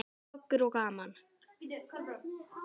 Goggur og gaman.